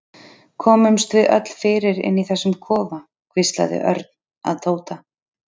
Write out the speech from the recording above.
Komumst við öll fyrir inni í þessum kofa? hvíslaði Örn að Tóta.